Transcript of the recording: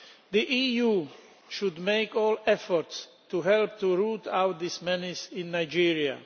The EU should make every effort to help root out this menace in Nigeria.